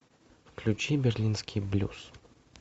включи берлинский блюз